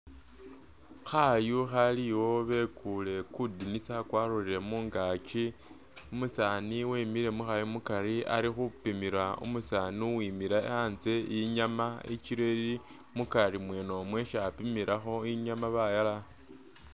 Khayu khaliwo bekuye kudinisa kwalolele mungakyi , umusani wemule mukhayu mukari ali khupimila umusani uwimile antse inyama i’kilo ili mukari mwene mo isi apimilakho inyama bayala